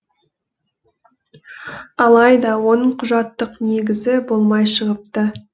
алайда оның құжаттық негізі болмай шығыпты